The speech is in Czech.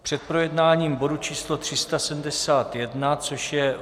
Před projednáním bodu číslo 371, což je